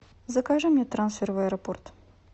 закажи мне трансфер в аэропорт